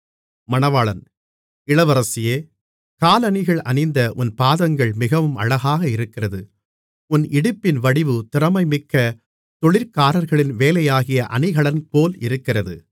இளவரசியே காலணிகள் அணிந்த உன் பாதங்கள் மிகவும் அழகாக இருக்கிறது உன் இடுப்பின் வடிவு திறமைமிக்க தொழிற்காரர்களின் வேலையாகிய அணிகலன்போல் இருக்கிறது